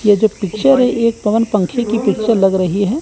यह जो पिक्चर है एक पवन पंखे की पिक्चर लग रही है।